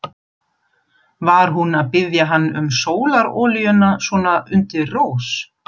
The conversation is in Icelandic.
Bandarísk stórfyrirtæki, evrópskar samsteypur, önnur japönsk fyrirtæki.